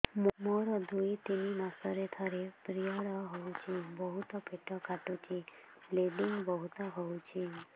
ମୋର ଦୁଇରୁ ତିନି ମାସରେ ଥରେ ପିରିଅଡ଼ ହଉଛି ବହୁତ ପେଟ କାଟୁଛି ବ୍ଲିଡ଼ିଙ୍ଗ ବହୁତ ହଉଛି